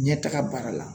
Ɲɛtaga baara la